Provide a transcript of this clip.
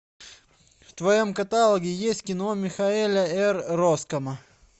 в твоем каталоге есть кино михаэля р роскама